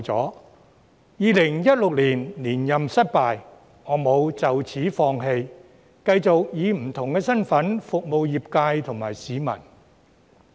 雖然2016年連任失敗，我沒有就此放棄，繼續以不同身份服務業界及市民。